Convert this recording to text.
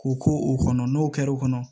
K'u k'u o kɔnɔ n'o kɛra o kɔnɔ